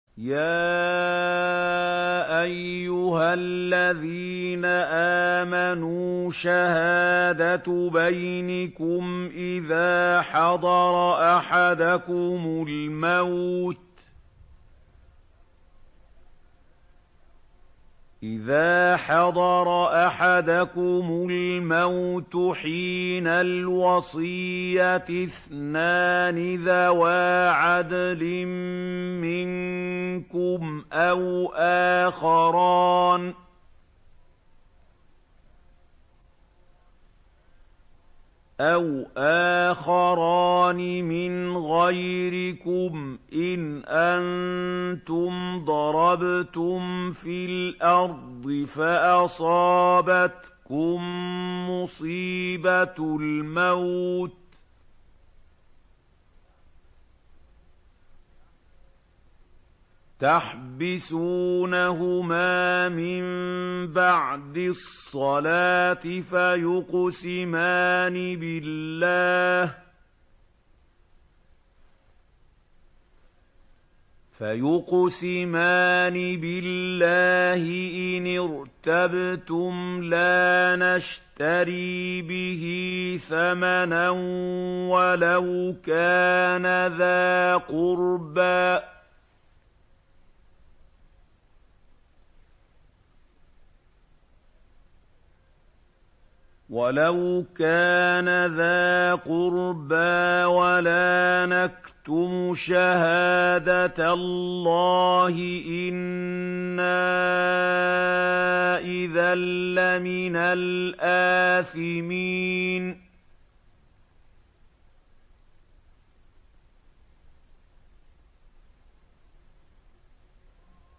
يَا أَيُّهَا الَّذِينَ آمَنُوا شَهَادَةُ بَيْنِكُمْ إِذَا حَضَرَ أَحَدَكُمُ الْمَوْتُ حِينَ الْوَصِيَّةِ اثْنَانِ ذَوَا عَدْلٍ مِّنكُمْ أَوْ آخَرَانِ مِنْ غَيْرِكُمْ إِنْ أَنتُمْ ضَرَبْتُمْ فِي الْأَرْضِ فَأَصَابَتْكُم مُّصِيبَةُ الْمَوْتِ ۚ تَحْبِسُونَهُمَا مِن بَعْدِ الصَّلَاةِ فَيُقْسِمَانِ بِاللَّهِ إِنِ ارْتَبْتُمْ لَا نَشْتَرِي بِهِ ثَمَنًا وَلَوْ كَانَ ذَا قُرْبَىٰ ۙ وَلَا نَكْتُمُ شَهَادَةَ اللَّهِ إِنَّا إِذًا لَّمِنَ الْآثِمِينَ